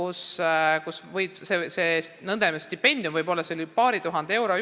Seal on see nn stipendium võib-olla paar tuhat eurot.